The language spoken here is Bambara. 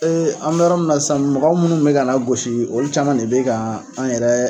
an bɛ yɔrɔ min na sisan mɔgɔw minnu kun bɛ k'an lagosi olu caman de bɛ ka an yɛrɛ